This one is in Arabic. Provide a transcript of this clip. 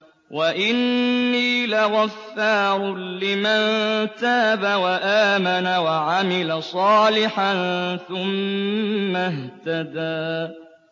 وَإِنِّي لَغَفَّارٌ لِّمَن تَابَ وَآمَنَ وَعَمِلَ صَالِحًا ثُمَّ اهْتَدَىٰ